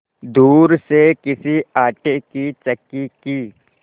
दूर से किसी आटे की चक्की की